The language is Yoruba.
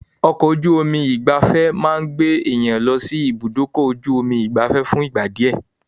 Ọkọ̀-ojú omi ìgbafẹ́ máa gbé èèyàn lọsí ibùdókọ̀-ju-omi ìgbafé fún ìgbà díẹ̀.